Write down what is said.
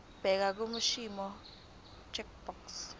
bheka kwiimporter checkbox